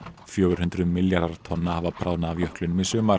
fjögur hundruð milljarðar tonna hafa bráðnað af jöklinum í sumar